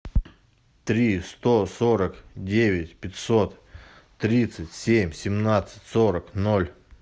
три сто сорок девять пятьсот тридцать семь семнадцать сорок ноль